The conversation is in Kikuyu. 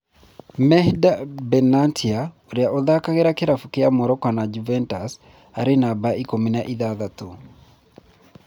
Mehdi Benatia ũria ũthakagira kĩravũkĩa Morocco na Juventus arĩ numba ikũmi na ithathatũ